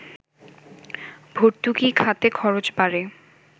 ভর্তুকি খাতে খরচ বাড়ে